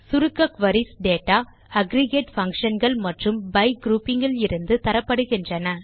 சுருக்க queries data aggregate functionகள் மற்றும் பை குரூப்பிங் இலிருந்து தரப்படுகின்றன